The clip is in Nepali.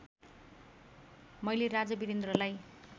मैले राजा वीरेन्द्रलाई